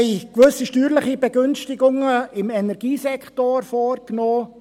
Wir haben gewisse steuerliche Begünstigungen im Energiesektor vorgenommen.